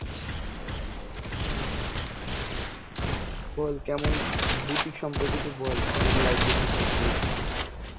বল কেমন বুটিক সম্পর্কে একটু বল. কেমন লাগছে বুটিক নিয়ে?